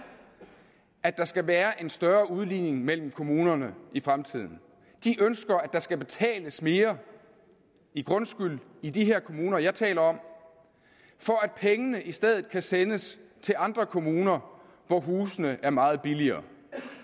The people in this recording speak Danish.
at der skal være en større udligning mellem kommunerne i fremtiden de ønsker at der skal betales mere i grundskyld i de her kommuner jeg taler om for at pengene i stedet kan sendes til andre kommuner hvor husene er meget billigere